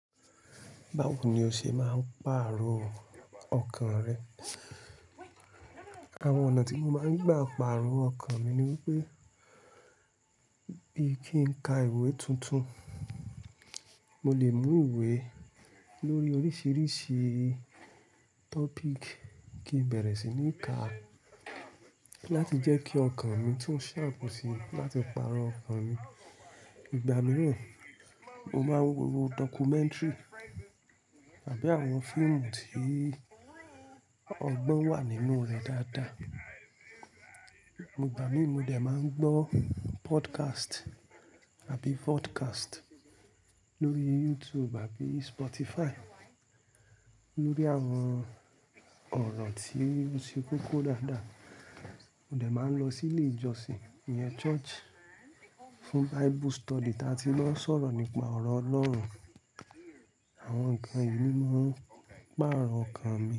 Báwo ni o ṣe máa ń pàrọ̀ ọkàn rẹ? Àwọn ọ̀nà tí mo máa ń gbà pàrọ̀ ọkàn mi ni wípé bí kí n ka ìwé tuntun. Mo lè mú ìwé lórí oríṣiríṣi tọ́píkì kí n bẹ̀rẹ̀ sí ní ká láti jẹ́ kí ọkàn mi tu ṣhapú ṣí láti pàrọ̀ ọkàn mi. Ìgbà mìíràn, mo máa ń wo dọ́kumẹ́ntìrì àbí àwọn fíìmù tí ọgbọ́n wà nínú rẹ̀ dáadáa. Ìgbà mìí mo dẹ̀ máa ń gbọ́ pọ́dkásìtì àbí vọ́dkásìtì lórí YouTube àbí Spotify lórí àwọn ọ̀rọ̀ tí ó ṣe kókó dáadáa. Mo dẹ̀ máa ń lọ sí ilé ìjọsìn, ìyẹn church, fún Bible study tí a ti máa ń sọ̀rọ̀ nípa ọ̀rọ̀ Ọlọ́run. Àwọn nǹkan yìí ni máa ń pàrọ̀ ọkàn mi.